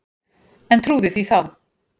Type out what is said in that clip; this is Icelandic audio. En trúði því þá.